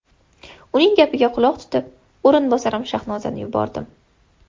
Uning gapiga quloq tutib, o‘rinbosarim Shahnozani yubordim.